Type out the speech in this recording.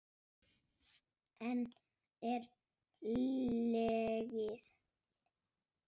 Enn er hlegið.